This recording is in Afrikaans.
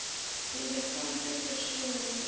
relevante perseel redelik